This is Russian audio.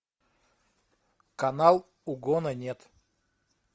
канал угона нет